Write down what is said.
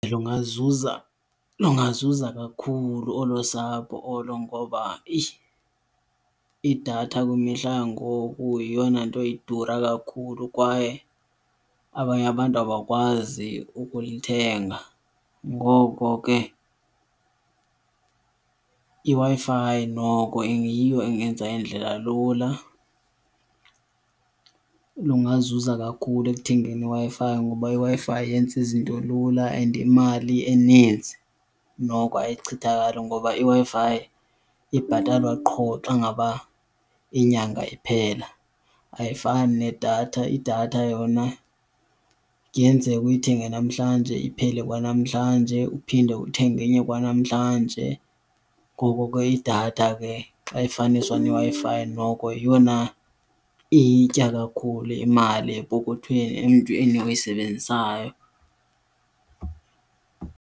Lungazuza, lungazuza kakhulu olo sapho ngoba eyi i-idatha kwimihla yangoku yeyona nto idura kakhulu kwaye abanye abantu abakwazi ukuyithenga. Ngoko ke iWi-Fi noko iyiyo engenza indlela lula. Lungazuza kakhulu ekuthengeni iWi-Fi ngoba iWi-Fi yenza izinto lula, and imali eninzi noko ayichithakali ngoba iWi-Fi ibhatalwa qho xa ngaba inyanga iphela ayifani nedatha. Idatha yona kuyenzeka uyithenge namhlanje iphele kwanamhlanje, uphinde uthenge enye kwanamhlanje. Ngoko ke idatha ke xa kufaniswa neWi-Fi noko yeyona iyitya kakhulu imali epokothweni emntwini oyisebenzisayo.